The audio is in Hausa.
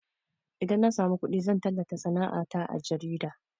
Idan na samu kuɗi zan tallata sana'a ta a jarida